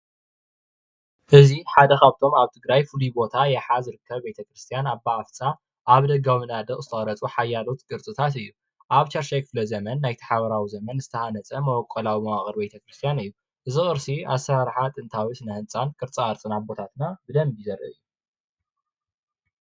እዚይ ሓደ ኻፍቶም ኣብ ትግራይ ፍሉይ ቦታ ይሓ ዝርከቡ ቤተክርስትያን ኣባ ቅርሳ ዝተቀረፁ ሓያሎ ቅርስታት ኣብ ሻድሻይ ክፍለዘመን ዝተሃነፀን ዝተወቀረን እዩ።